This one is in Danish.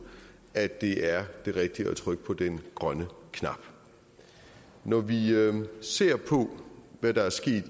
at det er det rigtige at trykke på den grønne knap når vi ser på hvad der er sket